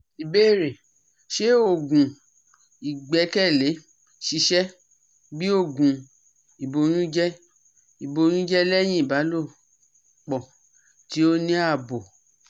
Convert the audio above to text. Ìbéèrè: Ṣé oògùn igbekele sise bi oogun iboyunje iboyunje lehin ibalopo ti o ni abo?